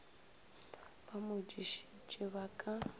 ba mo dišitše ba ka